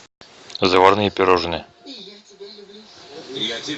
заварные пирожные